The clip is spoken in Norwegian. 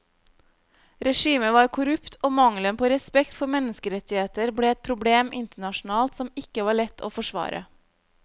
Regimet var korrupt og mangelen på respekt for menneskerettigheter ble et problem internasjonalt som ikke var lett å forsvare.